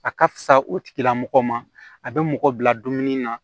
A ka fisa o tigilamɔgɔ ma a bɛ mɔgɔ bila dumuni na